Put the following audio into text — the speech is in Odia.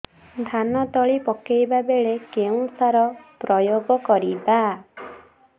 ଧାନ ତଳି ପକାଇବା ବେଳେ କେଉଁ ସାର ପ୍ରୟୋଗ କରିବା